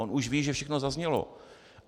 On už ví, že všechno zaznělo.